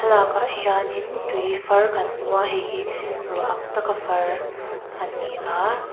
thlalakah hianin tui far kan hmu a heihi ruah ang taka far ani a.